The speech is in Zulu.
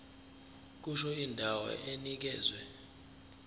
kusho indawo enikezwe